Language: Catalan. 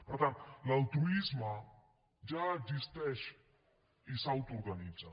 per tant l’altruisme ja existeix i s’autoorganitza